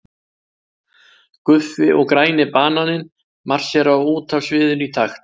Guffi og græni bananinn marsera út af sviðinu í takt.